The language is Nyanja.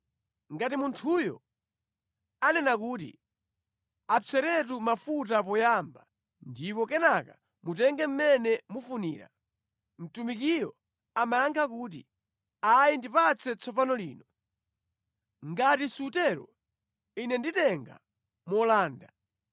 Ngati munthuyo anena kuti, “Apseretu mafuta poyamba, ndipo kenaka mutenge mmene mufunira,” mtumikiyo amayankha kuti, “Ayi ndipatse tsopano lino. Ngati sutero, ine nditenga molanda.”